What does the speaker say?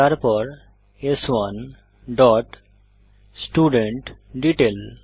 তারপর স্1 dot student detail